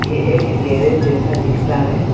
ये एक गैरेज जैसा दिखता है।